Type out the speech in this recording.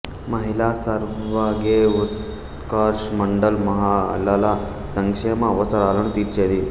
మహిళా సర్వగే ఉత్కర్ష్ మండల్ మహిళల సంక్షేమ అవసరాలను తీర్చేది